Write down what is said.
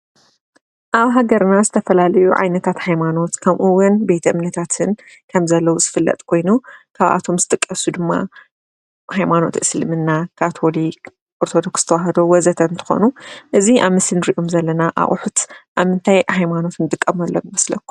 አብ ሃገርና ዝተፈላለዩ ዓይነታት ሃይማኖት ከምኡ እውን ቤተ እምነታትን ከምዘሎ ዝፍለጥ ኮይኑ ካብአቶም ዝጥቀሱ ድማ ሃይማኖት እስልምና፣ ካቶሊክ፣ ኦርቶዶክስ ተዋሕዶ ወዘተ እንትኮኑ እዚ አብ ምስሊ እንሪኦም ዘለና አቁሑት አብ ምንታይ ሃይማኖት እንጥቀመሎም ይመስለኩም?